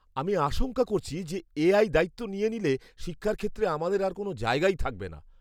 আমি আশঙ্কা করছি যে, এআই দায়িত্ব নিয়ে নিলে শিক্ষার ক্ষেত্রে আমাদের আর কোনও জায়গাই থাকবে না।